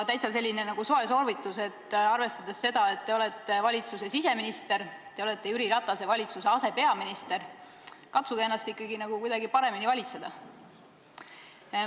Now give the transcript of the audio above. Selline soe soovitus: arvestades seda, et te olete siseminister, te olete Jüri Ratase valitsuse asepeaminister, katsuge ennast ikkagi kuidagi paremini valitseda.